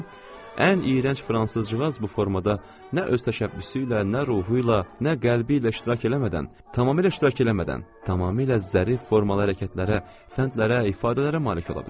İndi ən iyrənc fransız cağası bu formada nə öz təşəbbüsü ilə, nə ruhu ilə, nə qəlbi ilə iştirak eləmədən, tamamilə zərif formalı hərəkətlərə, fəndlərə, ifadələrə malik ola bilər.